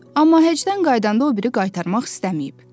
Amma həcdən qayıdanda o biri qaytarmaq istəməyib.